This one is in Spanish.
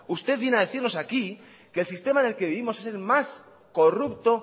usted viene a decirnos aquí que el sistema en el que vivimos es el más corrupto